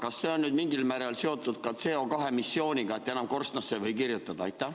Kas nüüd on see mingil määral seotud ka CO2 emissiooniga, et enam korstnasse ei või kirjutada?